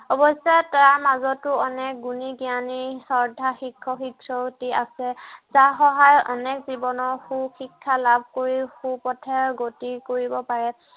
অৱশ্য়ে তাৰ মাজতো অনেক গুণী জ্ঞানী শ্ৰদ্ধাৰ শিক্ষক শিক্ষয়য়িত্ৰী আছে। যাৰ সহায়ত অনেক জীৱনত সু শিক্ষা লাভ কৰিও সু পথে গতি কৰিব পাৰে।